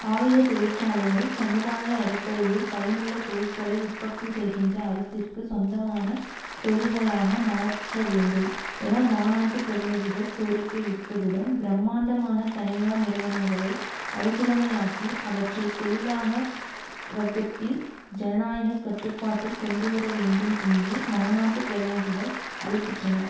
ஆயுத தொழிற்சாலைகள் சமுதாய அடிப்படையில் பயனுள்ள பொருட்களை உற்பத்து செய்கின்ற அரசிற்கு சொந்தமான தொழில்களாக மாற்றவேண்டும் என மாநாட்டு பிரதிநிதிகள் கோரிக்கை விடுத்ததுடன் பிரம்மாண்டமான தனியார் நிறுவனங்களை அருசுடமையாக்கி அவற்றை தொழிலாக வர்க்கத்தின் ஜனநாயக கட்டுப்பாட்டில் கொண்டுவர வேண்டும் என்று மாநாட்டு பிரதிநிதிகள் அழைப்பிட்டனர்